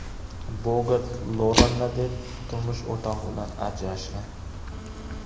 Bogart Loranni deb turmush o‘rtog‘i bilan ajrashgan.